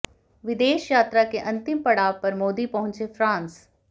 विदेश यात्रा के अंतिम पड़ाव पर मोदी पहुंचे फ़्रांस